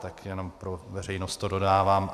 Tak jenom pro veřejnost to dodávám.